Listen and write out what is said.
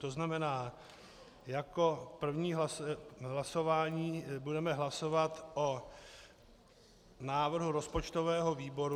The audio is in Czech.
To znamená, jako první hlasování budeme hlasovat o návrhu rozpočtového výboru.